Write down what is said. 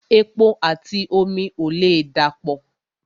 Epo àti omi ò lè dà pọ̀